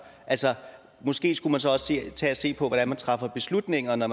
altså måske skulle man så også tage og se på hvordan beslutningerne